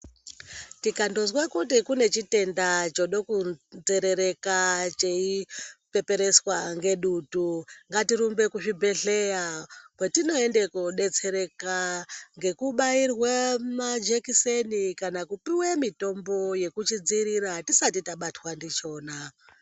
Tikandozwa kuti kune chitenda choda kunzerereka cheipepereswa ngedutu ngatirumbe kuzvibhedhleya kwetinoenda kudetsereka ngekubairwe majekiseni kana kupuwe mutombo wekuchidzivirira tisati tabatwa ndichona.